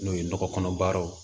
N'o ye nɔgɔ kɔnɔ baaraw